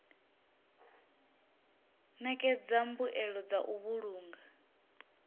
ṋekedza mbuelo dza u vhulunga